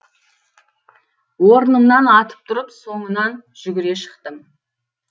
орнымнан атып тұрып соңынан жүгіре шықтым